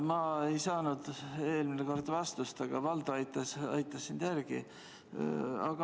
Ma ei saanud eelmine kord vastust, aga Valdo aitas sind järele.